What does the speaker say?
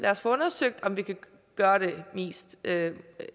os få undersøgt om vi kan gøre det mest